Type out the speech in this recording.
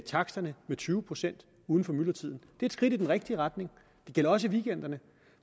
taksterne med tyve procent uden for myldretiden det er et skridt i den rigtige retning det gælder også i weekenderne